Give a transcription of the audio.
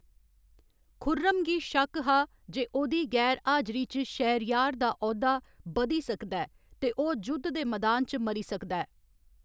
खुर्रम गी शक्क हा जे ओह्‌‌‌दी गैर हाजरी च शहरयार दा औह्‌दा बधी सकदा ऐ ते ओह्‌‌ जुद्ध दे मैदान च मरी सकदा ऐ।